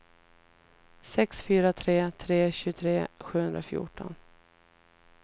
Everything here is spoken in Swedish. sex fyra tre tre tjugotre sjuhundrafjorton